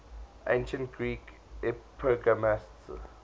ancient greek epigrammatists